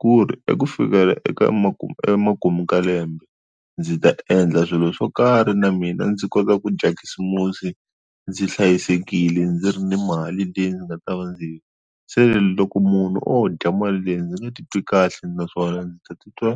ku ri eku fikela eka makumu emakumu ka lembe ndzi ta endla swilo swo karhi na mina ndzi kota ku dya khisimusi ndzi hlayisekile ndzi ri ni mali leyi ndzi nga ta va ndzi seni loko munhu o dya mali leyi ndzi nge titwi kahle naswona ndzi ta titwa.